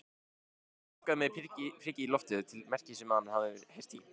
Kobbi bankaði með priki í loftið til merkis um að hann hafi heyrt í